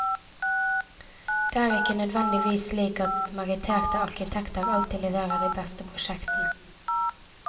Det er ikke nødvendigvis slik at meritterte arkitekter alltid leverer de beste prosjektene.